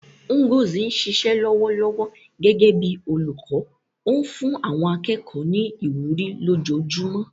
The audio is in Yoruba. Ngozi ń ṣiṣẹ́ lọ́wọ́lọ́wọ́ gẹ́gẹ́ bí olùkọ́, ó ń fún àwọn akẹ́kọ̀ọ́ ní ìwúrí lójoojúmọ́.